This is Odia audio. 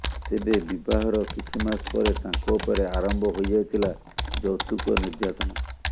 ତେବେ ବିବାହର କିଛି ମାସ ପରେ ତାଙ୍କ ଉପରେ ଆରମ୍ଭ ହୋଇଯାଇଥିଲା ଯୌତୁକ ନିର୍ଯ୍ୟାତନା